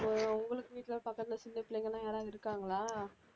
உங்களுக்கு வீட்டில பக்கத்தில சின்னப் பிள்ளைங்க எல்லாம் யாராவது இருக்காங்களா